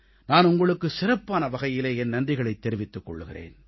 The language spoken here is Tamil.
நான் உங்களுக்கு சிறப்பான வகையிலே என் நன்றிகளைத் தெரிவித்துக் கொள்கிறேன்